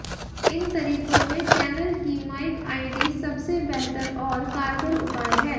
इन तरीकों में चैनल की माइक आईडी सबसे बेहतर और कारगर उपाय है